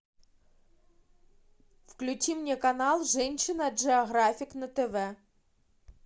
включи мне канал женщина джиографик на тв